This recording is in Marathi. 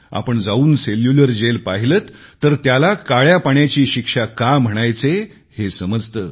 आपण जाऊन सेल्युलर जेल पाहिलेत तर त्याला काळं पाणी का म्हणायचे हे समजते